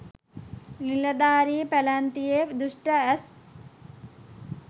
නිලධාරී පැලැන්තියේ දුෂ්‍ඨ ඇස්